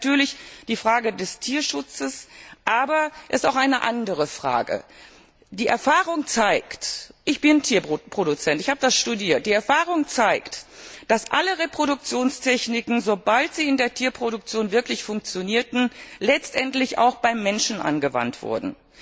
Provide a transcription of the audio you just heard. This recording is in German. Da ist natürlich die Frage des Tierschutzes, aber es geht auch um eine andere Frage. Die Erfahrung zeigt ich bin Tierproduzent, ich habe das studiert dass alle Reproduktionstechniken, sobald sie in der Tierproduktion wirklich funktionierten, letztendlich auch beim Menschen angewandt wurden.